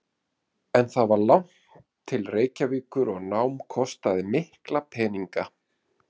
En það var langt til Reykjavíkur og nám kostaði mikla peninga.